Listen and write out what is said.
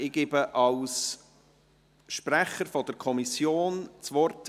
Ich gebe Grossrat Lars Guggisberg als Sprecher der Kommission das Wort.